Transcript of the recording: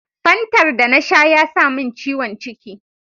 Fantar da na sha ya samin ciwon ciki.